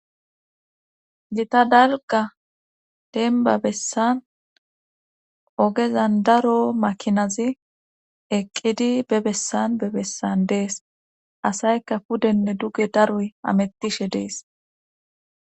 Lita dalga denba bessan ogezan daro makinazi eqqidi be bessan be bessan dees asaykka pudenne duge daroy amettishe dees